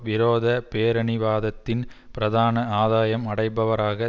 விரோத பேரினவாதத்தின் பிரதான ஆதாயம் அடைபவராக